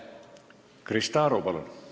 Krista Aru, palun!